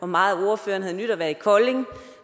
meget ordføreren havde nydt at være i kolding